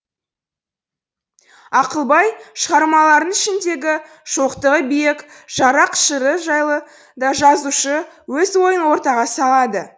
ақылбай шығармаларының ішіндегі шоқтығы биік жаррақ жыры жайлы да жазушы өз ойын ортаға салады